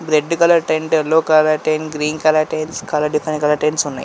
Red colour tent yellow colour tent green colour tent different colour tents ఉన్నాయి.